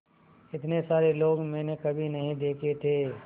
इतने सारे लोग मैंने कभी नहीं देखे थे